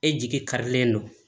E jigi karilen don